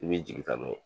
I b'i jigin ta n'o ye